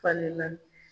Falenna